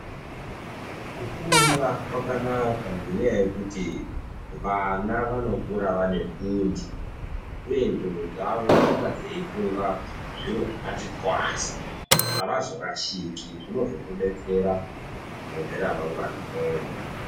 Kufunda kwakanaka ngenyaya yekuti vana vanokura vane fundi uye ndxondo dzavo dzinonga dzeifunga zviro zvakati twasa avazorashiki, zvinozokubetsera mune ramangwana redu.